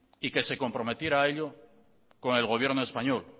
y que se comprometiera a ellos con el gobierno español